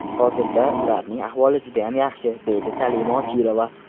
Hozirda ularning ahvoli judayam yaxshi”, deydi Salima Ochilova.